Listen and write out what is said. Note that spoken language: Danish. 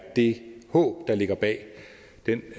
det håb der ligger bag den